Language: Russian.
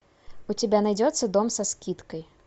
у тебя найдется дом со скидкой